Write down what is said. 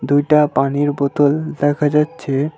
দুইটা পানির বোতল দেখা যাচ্চে।